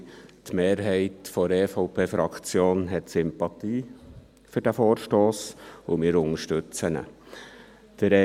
Die Mehrheit der EVP-Fraktion hat Sympathien für diesen Vorstoss, und wir unterstützen diesen.